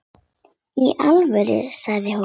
Já í alvöru, sagði hún.